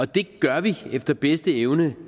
det gør vi efter bedste evne